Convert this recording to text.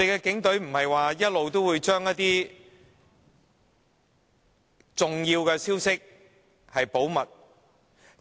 警隊不是一直聲稱會將重要消息保密嗎？